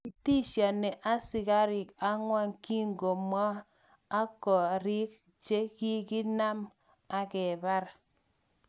Kitishoni asikarik agwan kikimwog ak kariik chi nekikakinam akebar.